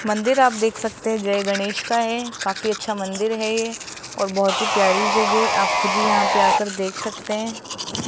मंदिर आप देख सकते है जय गणेश का है काफी अच्छा मंदिर है ये और बहुत प्यारी जगह आप खुद ही यहां पर आ के देख सकते हैं।